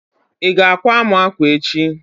iga àkwá mu akwa echi?